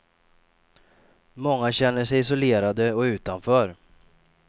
Många känner sig isolerade och utanför.